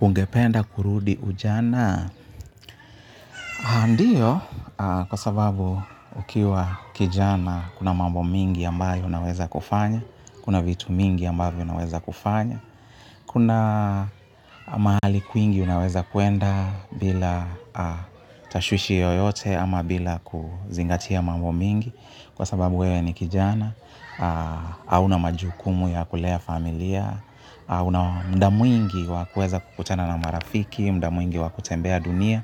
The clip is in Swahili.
Ungependa kurudi ujana? Ndiyo kwa sababu ukiwa kijana kuna mambo mingi ambayo unaweza kufanya, kuna vitu mingi ambavyo unaweza kufanya, kuna mahali kwingi unaweza kwenda bila tashwishi yoyote ama bila kuzingatia mambo mingi kwa sababu wewe ni kijana hauna majukumu ya kulea familia. Muda mwingi wa kueza kukutana na marafiki, muda mwingi wa kutembea dunia.